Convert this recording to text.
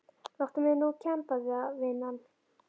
Láttu mig nú kemba það vinan.